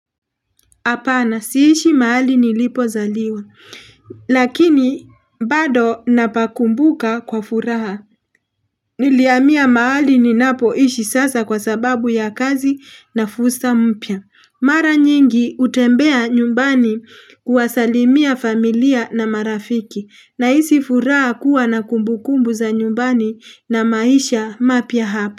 Hapana, siishi mahali nilipo zaliwa, lakini bado napakumbuka kwa furaha, nilihamia mahali ninapo ishi sasa kwa sababu ya kazi na fusa mpya. Mara nyingi hutembea nyumbani kuwasalimia familia na marafiki, nahisi furaha kuwa na kumbukumbu za nyumbani na maisha mapya hapa.